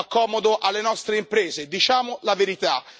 Fa comodo alle nostre imprese, diciamo la verità.